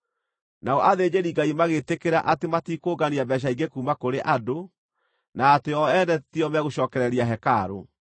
Nao athĩnjĩri-Ngai magĩtĩkĩra atĩ matikũngania mbeeca ingĩ kuuma kũrĩ andũ, na atĩ o ene tio megũcookereria hekarũ.